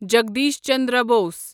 Jagdish Chandra Bose